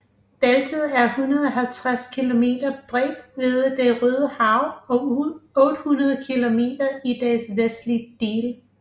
Bæltet er 150 kilometer bredt ved Det Røde Hav og 800 kilometer i dets vestlige del